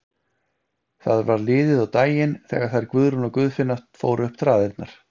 Það var liðið á daginn þegar þær Guðrún og Guðfinna fóru upp traðirnar.